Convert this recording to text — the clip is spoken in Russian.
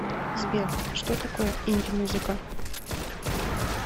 сбер что такое инди музыка